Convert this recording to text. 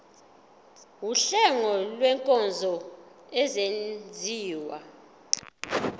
wuhlengo lwezinkonzo ezenziwa